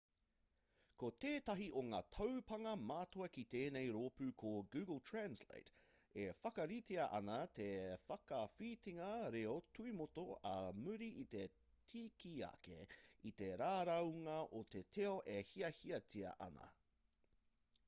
ko tētahi o ngā taupānga matua ki tēnei rōpū ko google translate e whakaritea ana te whakawhitinga reo tuimotu ā muri i te tikiake i te raraunga o te reo e hiahiatia ana